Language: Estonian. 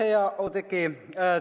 Aitäh, hea Oudekki!